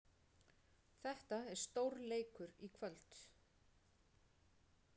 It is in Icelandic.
Þetta er stórleikur í kvöld.